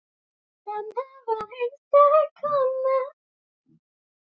Amma mín var einstök kona.